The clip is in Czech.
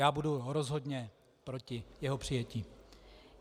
Já budu rozhodně proti jeho přijetí.